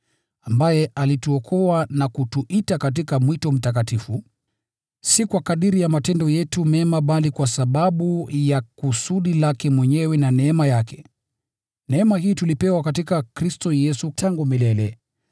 ambaye alituokoa na kutuita katika mwito mtakatifu: si kwa kadiri ya matendo yetu mema bali kwa sababu ya kusudi lake mwenyewe na neema yake. Neema hii tulipewa katika Kristo Yesu tangu milele.